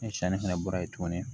Ni sanni fɛnɛ bɔra yen tuguni